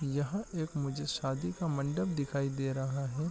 यहाँ एक मुझे शादी का मंडप दिखाई दे रहा है ।